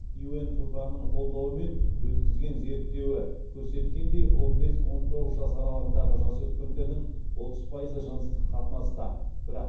юнфпа ның қолдауымен өткізген зерттеуі көрсеткендей он бес он тоғыз жас аралығындағы жасөспірімдердің отыз пайызы жыныстық қатынаста бірақ